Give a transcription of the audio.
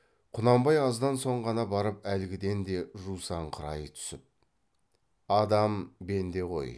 құнанбай аздан соң ғана барып әлгіден де жусаңқырай түсіп адам бенде ғой